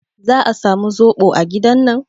Za a samu zoɓo a gidan nan?